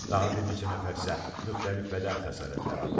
Daha bir neçə nəfər isə müxtəlif bədən xəsarətləri alıb.